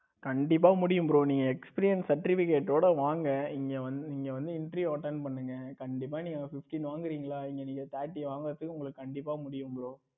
கண்டிப்பா முடியும் bro நீங்க experience certificate வோட வாங்க இங்க வந்து இங்க வந்து interview attend பண்ணுங்க கண்டிப்பா நீங்க fifteen வாங்குறீங்களா? இங்க நீங்க thetti வாங்குவதற்கு கண்டிப்பா உங்களுக்கு முடியும் bro.